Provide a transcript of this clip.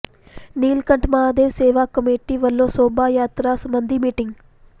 Neelkanth Mahadev Seva committee ਵਲੋਂ ਸ਼ੋਭਾ ਯਾਤਰਾ ਸਬੰਧੀ ਮੀਟਿੰਗ